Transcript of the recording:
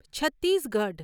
Chhattisgarh